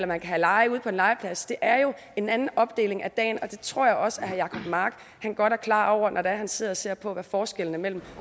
man kan have lege ude på en legeplads det er jo en anden opdeling af dagen og det tror jeg også at herre jacob mark er godt klar over når han sidder og ser på hvad forskellen mellem